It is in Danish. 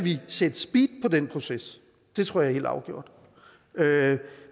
sætte speed på den proces det tror jeg helt afgjort